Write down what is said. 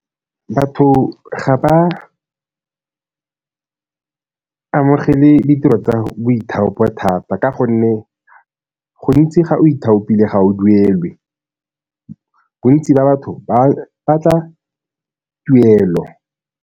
Batho ga ba amogele ditiro tsa boithaopo thata, ka gonne gontsi ga o ithaopile ga o duelwe. Bontsi ba batho ba batla tuelo.